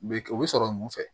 U bɛ kɛ o bɛ sɔrɔ mun fɛ